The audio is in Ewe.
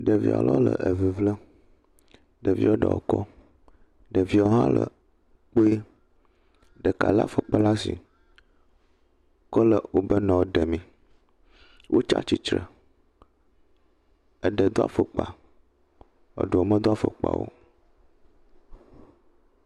Ɖevi aɖewo le eŋiŋlem. Ɖevia ɖewo kɔ. Ɖeviawo le kpoe. Ɖeka lé afɔkpa laa shi kɔ le wobɔ nɔewo ɖemee. Wotsa tsi tre. Eɖe do afɔkpa. Eɖewo medo afɔkpa o.